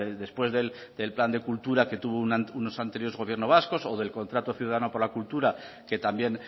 después del plan de cultura que tuvo unos anteriores gobierno vasco o del contrato ciudadano por la cultura que también